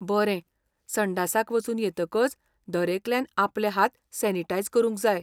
बरें! संडासाक वचून येतकच दरेकल्यान आपले हात सॅनिटायझ करूंक जाय.